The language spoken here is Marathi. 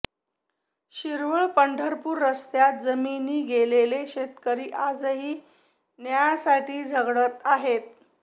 शिरवळ पंढरपूर रस्त्यात जमीनी गेलेले शेतकरी आजही न्यायासाठी झगडत आहेत